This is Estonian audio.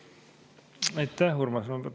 Aitäh, Urmas!